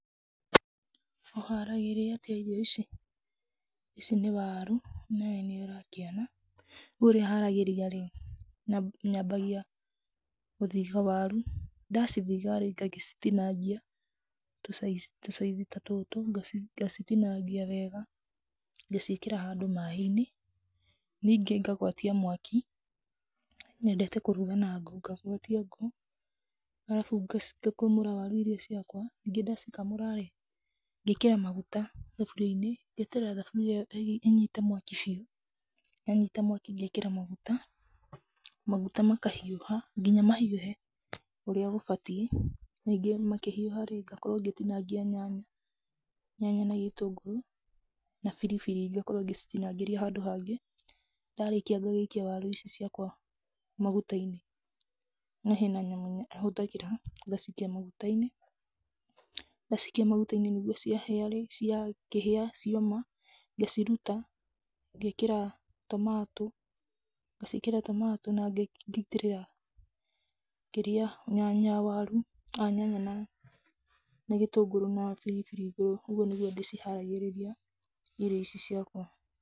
Ũharagĩria atia irio ici? ici nĩ waru, onawe nĩ ũrakĩona ,rĩu ũrĩa haragĩria rĩ, nyambagia gũthitha waru, ndacithitha rĩu ngagĩcitinangia tũ size ta tũtũ, ngacitinangia wega, ngaciĩkĩra handũ maĩinĩ ,ningĩ ngagwatia mwaki ,nyendete kũrũga na ngũ, ngagwatia ngũ, ngacoka ngakamũra waru ici cia kwa, wona ndacikamũra rĩ, ngekĩra maguta thaburiainĩ ,ngeterera thaburia ĩno ĩnyite mwaki biũ, yanyita mwaki ngekĩra maguta, maguta makahiũha nginya mahiũhe ũria mabatiĩ. Ningĩ makĩhiũha rĩ, ngakorwo ngĩtinangia nyanya, na gĩtũngũrũ na biribiri ngakorwo ngĩcitinangĩria handũ hangĩ, ndarĩkia ngagĩikia waru ici ciakwa magutaiinĩ, na hena nyamũ ahũthagĩra, ngacikia magutaiinĩ, ndacikia nĩguo ciahĩa, cioma ngaciruta ngekĩra tomato na ngaitĩrĩra kĩrĩa, nyanya na gĩtũngũrũ na biribiri igũrũ, ũguo nĩguo ndĩ ciharagĩrĩria irio ici ciakwa.